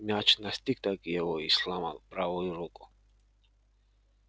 мяч настиг-таки его и сломал правую руку